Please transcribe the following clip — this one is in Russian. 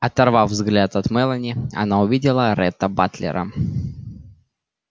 оторвав взгляд от мелани она увидела ретта батлера